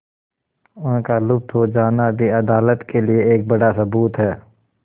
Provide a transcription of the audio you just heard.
उनका लुप्त हो जाना भी अदालत के लिए एक बड़ा सबूत है